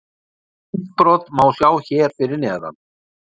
Myndbrot má sjá hér fyrir neðan: